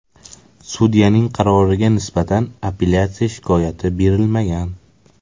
Sudyaning qaroriga nisbatan apellyatsiya shikoyati berilmagan.